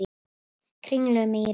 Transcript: Kringlumýri